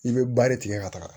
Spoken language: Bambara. I bɛ ba de tigɛ ka taga